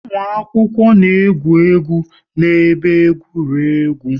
Ụmụ akwụkwọ na-egwu egwu n'ebe egwuregwu